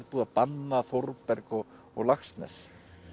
búið að banna Þórberg og og Laxness